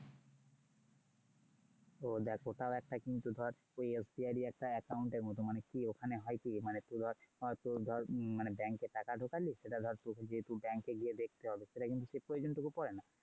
ও দেখ ওটাও একটা কিন্তু ধর ওই SBI এর account এর মতন মানে ওখানে হয়কি মানে তুই bank এ টাকা ঢোকালি সেটা ধর তোকে গিয়ে bank এ গিয়ে দেখতে হল। সেটা কিন্তু সেই প্রয়োজন টুকু পরে না।